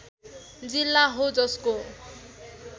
जिल्ला हो जसको